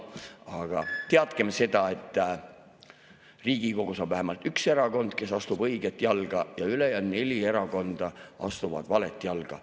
Aga teadkem seda, et Riigikogus on vähemalt üks erakond, kes astub õiget jalga, ja ülejäänud neli erakonda astuvad valet jalga.